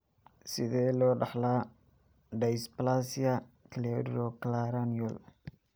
Sidee loo dhaxlaa dysplasia cleidocranial?